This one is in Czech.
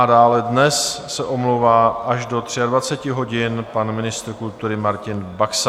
A dále dnes se omlouvá až do 23 hodin pan ministr kultury Martin Baxa.